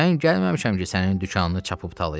Mən gəlməmişəm ki sənin dükanını çapıb talayam.